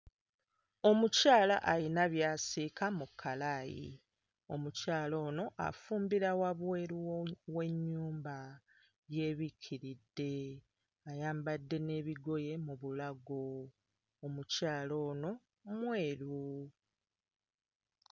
Omukyala alina by'asiika mu kkalaayi. Omukyala ono afumbira wabweru wo w'ennyumba yeebikkiridde ayambadde n'ebigoye mu bulago, omukyala ono mweru.